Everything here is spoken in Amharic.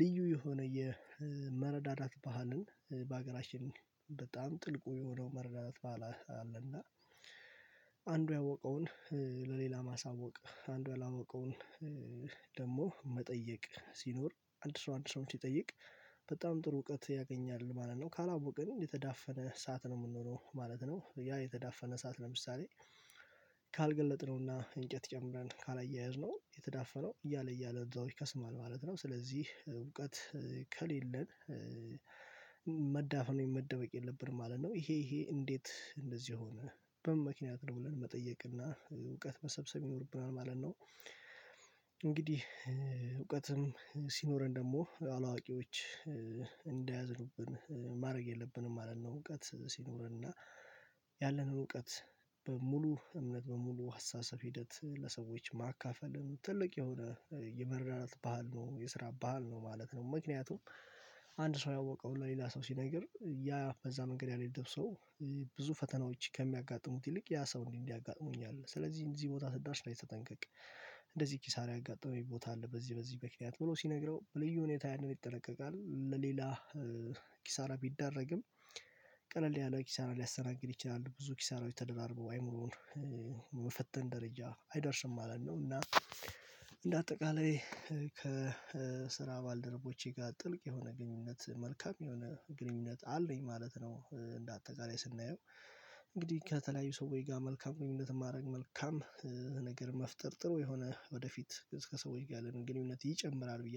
ልዩ የሆነ የመረዳዳት ባህልን በአገራችን በጣም ጥልቁ የሆነው መረዳዳት ባህል አለና። አንዱ ያወቀውን ለሌላ ማሳወቅ አንዱ ያላወቀውን ደግሞ መጠየቅ ሲኖር አንድ ሰው አንድ ሰው ሲጠይቅ በጣም ጥሩ እውቀት ያገኛል ማለት ነው። ካላወቅን የተዳፈነ ሰዓት ነው የምንሆነው ማለት ነው ያ የተዳፈነ ሰዓት ለምሳሌ ካልገለጥነውና እንጨት ጨምረን ካላያየዝነው የተዳፈነው እያለ እያለ እዛው ይከስማል ማለት ነው። ስለዚህ እውቀት ከሌለን መዳፍፈን ወይም መደበቅ የለብንም ማለት ነው። ይሄ ይሄ እንዴት እንደዚህ ሆነ በምን ምክንያት ነው የምለውን መጠየቅ እና እውቀት መሰብሰብ ይኖርብናል ማለት ነው? እንግዲህ እውቀትም ሲኖረን ደግሞ አላዋቂዎች እንዳያዝንብን ማድረግ የለብንም ማለት ነው። እውቀት ሲኖርና ያለን እውቀት በሙሉ እምነት በሙሉ ሀሳብ ሂደት ለሰዎች ማካፈልም ትልቅ የሆነ የመረዳዳት ባህል ነው የስራ ባህል ነው ማለት ነው። ምክንያቱም አንድ ሰው ያወቀው ለሌላ ሰው ሲነግር ያ በዛ መንገድ ያልሄደ ሰው ብዙ ፈተናዎች ከሚያጋጥሙት ይልቅ ያ ሰው እንዲህ እንዲህ ያጋጥሙኛል ስለዚህ እንደዚህ ቦታ ስዳር ስራ ስጠንቀቅ እንደዚህ ኪሳራ ያጋጠመኝ ቦታ አለ። በዚህ በዚህ ምክንያት ብሎ ሲነግረው በልዩ ሁኔታ ያንን ይጠነቀቃል ለሌላ ኪሳራ ቢደረግም ቀለል ያለው ኪሳራ ሊያሰናግድ ይችላል ብዙ ኪሳራው የተደራርበው አይምሮውን መፈተን ደረጃ አይደርስም ማለት ነው። እና እንደ አጠቃላይ ከስራ ባልደረቦቼ ጋር ጥልቅ የሆነ ግንኙነት መልካም የሆነ አለኝ ማለት ነው። እንደ አጠቃላይ ስናየው እንግዲህ ከተለያዩ ሰዎች ጋር መልካም ግንኙነት ማድረግ መልካም ነገር መፍጠር ጥሩ የሆነ ወደፊት እስከ ሰዎች ጋር ለግንኙነት ይጨምራል ብዬ